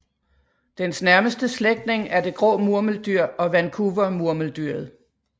Dens nærmeste slægtning er det grå murmeldyr og Vancouvermurmeldyret